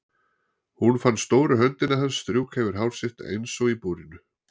Hún fann stóru höndina hans strjúka yfir hár sitt eins og í búrinu.